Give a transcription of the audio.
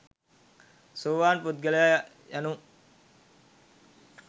සෝවාන් පුදගලයා යනු